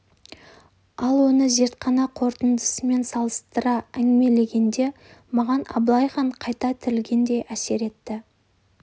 ал оны зертхана қорытындысымен салыстыра әңгімелегенде маған абылай хан қайта тірілгендей әсер етті